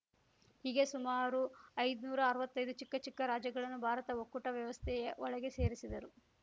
ಹೀಗೆ ಸುಮಾರು ಐದ್ ನೂರಾ ಅರ್ವತ್ತೈದು ಚಿಕ್ಕ ಚಿಕ್ಕ ರಾಜ್ಯಗಳನ್ನು ಭಾರತ ಒಕ್ಕೂಟ ವ್ಯವಸ್ಥೆಯ ಒಳಗೆ ಸೇರಿಸಿದರು